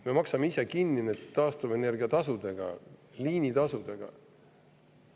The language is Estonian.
Me maksame ise need taastuvenergia tasudega ja liinitasudega kinni.